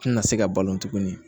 Tina se ka balo tuguni